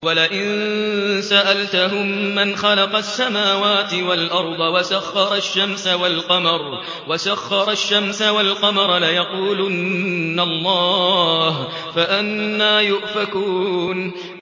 وَلَئِن سَأَلْتَهُم مَّنْ خَلَقَ السَّمَاوَاتِ وَالْأَرْضَ وَسَخَّرَ الشَّمْسَ وَالْقَمَرَ لَيَقُولُنَّ اللَّهُ ۖ فَأَنَّىٰ يُؤْفَكُونَ